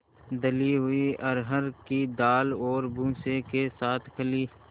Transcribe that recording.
दली हुई अरहर की दाल और भूसे के साथ खली